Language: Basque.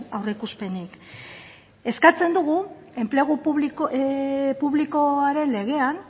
aurreikuspenik eskatzen dugu enplegu publikoaren legean